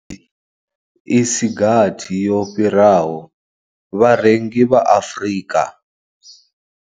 I si gathi yo fhiraho, vharengi vha Afrika.